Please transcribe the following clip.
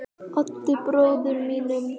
Oddi bróður mínum.